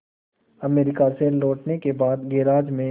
America से लौटने के बाद गैराज में